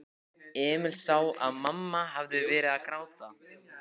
Emil sá að mamma hafði verið að gráta.